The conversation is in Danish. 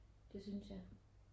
Det synes jeg